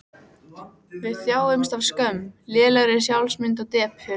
Við þjáumst af skömm, lélegri sjálfsmynd og depurð.